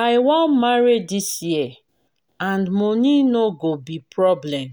i wan marry dis year and money no go be problem